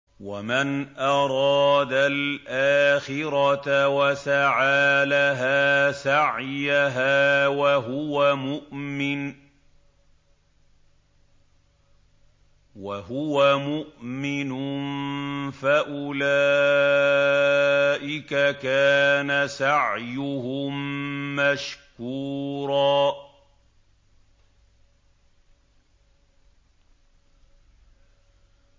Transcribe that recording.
وَمَنْ أَرَادَ الْآخِرَةَ وَسَعَىٰ لَهَا سَعْيَهَا وَهُوَ مُؤْمِنٌ فَأُولَٰئِكَ كَانَ سَعْيُهُم مَّشْكُورًا